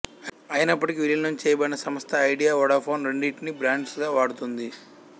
అయినప్పటికీ విలీనం చేయబడిన సంస్థ ఐడియా వోడాఫోన్ రెండింటినీ బ్రాండ్స్ గా వాడుతోంది